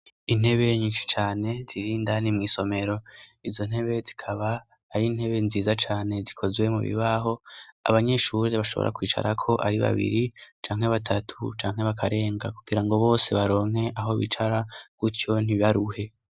Intebe nyinsi cane zirindani mw'isomero izo ntebe zikaba ari intebe nziza cane zikozwe mu bibaho abanyishure bashobora kwicarako ari babiri canke batatu canke bakarenga kugira ngo bose baronke aho bicara kutyo ntibaruhe.